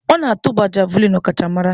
Ọ na-atụba Javulinị ọkachamara.